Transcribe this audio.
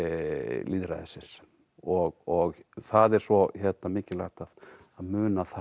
lýðræðisins og það er svo mikilvægt að muna það